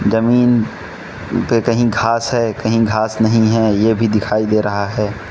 जमीन पे कहीं घास है कहीं घास नहीं है ये भी दिखाई दे रहा है।